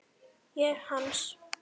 Ég hans.